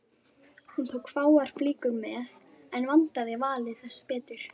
Hún tók fáar flíkur með en vandaði valið þess betur.